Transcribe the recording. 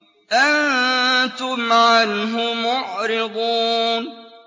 أَنتُمْ عَنْهُ مُعْرِضُونَ